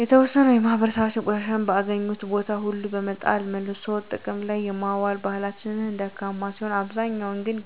የተዎሰነው የማህበራሰባችን ቆሻሻን በአገኙት ቦታ ሁሉ በመጣል መልሶ ጥቅም ላይ የማዋል ባህላቸው ደካማ ሲሆን አብዛኛው ግን